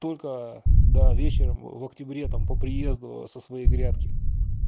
только да вечером в октябре там по приезду со своей грядке